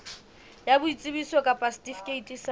ya boitsebiso kapa setifikeiti sa